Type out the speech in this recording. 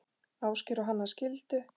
Ásgeir og Hanna skildu.